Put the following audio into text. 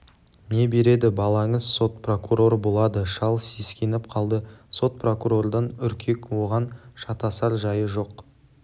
не береді балаңыз сот прокурор болады шал сескеніп қалды сот прокурордан үркек оған шатасар жайы жоқ